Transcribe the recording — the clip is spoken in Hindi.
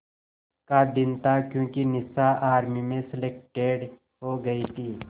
का दिन था क्योंकि निशा आर्मी में सेलेक्टेड हो गई थी